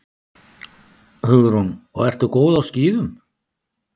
Hugrún: Og ertu góð á skíðum?